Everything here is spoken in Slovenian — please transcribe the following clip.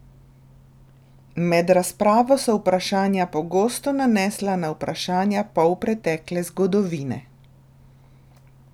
Med razpravo so vprašanja pogosto nanesla na vprašanja polpretekle zgodovine.